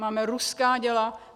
Máme ruská děla.